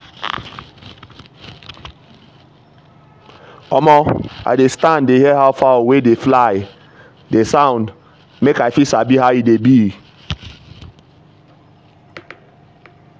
omo i dey stand dey hear how fowl wey dey fly dey sound make i fit sabi how e dey be.